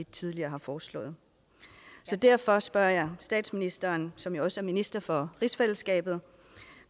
tidligere har foreslået derfor spørger jeg statsministeren som jo også er minister for rigsfællesskabet